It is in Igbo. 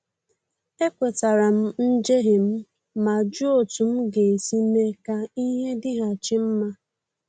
Ekwetara m njehie m ma jụọ otú m ga-esi mee ka ihe dịghachi mma